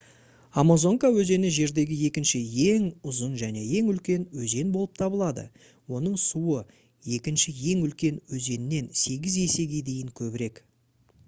амазонка өзені жердегі екінші ең ұзын және ең үлкен өзен болып табылады оның суы екінші ең үлкен өзеннен 8 есеге дейін көбірек